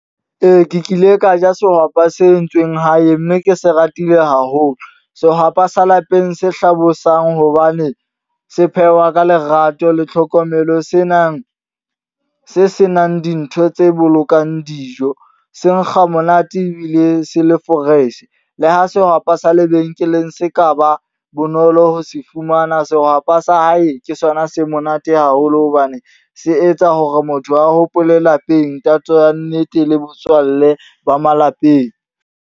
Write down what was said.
Ee, ke kile ka ja sehwapa se entsweng hae. Mme ke se ratile haholo. Sehwapa sa lapeng se hlabosang hobane se phehwa ka lerato le tlhokomelo. Senang se senang dintho tse bolokang dijo. Se nkga monate ebile se le fresh. Le ha sehwapa sa lebenkeleng se ka ba bonolo ho se fumana. Sehwapa sa hae ke sona se monate haholo hobane se etsa hore motho a hopole lapeng. Tatso ya nnete, le botswalle ba malapeng.